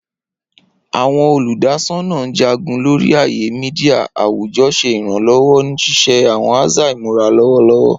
Awọn oludasọna Njagun lori aaye media awujọ ṣe iranlọwọ ni ṣiṣe awọn aza imura lọwọlọwọ.